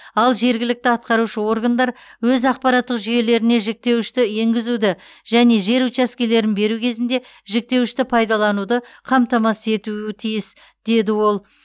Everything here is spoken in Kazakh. ал жергілікті атқарушы органдар өз ақпараттық жүйелеріне жіктеуішті енгізуді және жер учаскелерін беру кезінде жіктеуішті пайдалануды қамтамасыз етуі тиіс деді ол